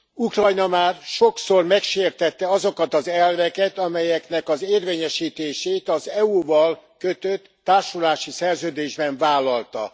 Ukrajna már sokszor megsértette azokat az elveket, amelyeknek az érvényesítését az EU val kötött társulási szerződésben vállalta.